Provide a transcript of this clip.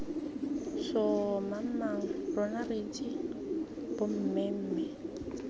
sssoomamang rona re itse bommemme